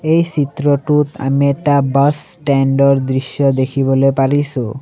এই চিত্ৰটোত আমি এটা বাছ ষ্টেণ্ড ৰ দৃশ্য দেখিবলৈ পাৰিছোঁ।